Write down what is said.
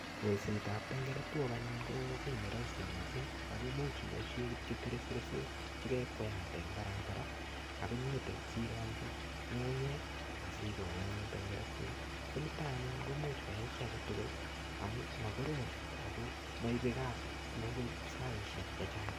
Kolsetab tangretwok anyun ko kiy ne rahisi mising, ako much iboisie kityo tresbesok che kekweate eng barabara ak inyitil sirongchi ngungunyek asikol anyun tengratwet, ko nito anyun komuch koyai chi ake tugul amu makorom ako moibe saisiek che chang.